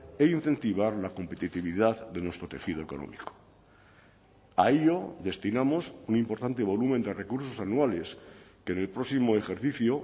e incentivar la competitividad de nuestro tejido económico a ello destinamos un importante volumen de recursos anuales que en el próximo ejercicio